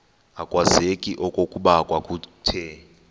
akwazeki okokuba kwakuthe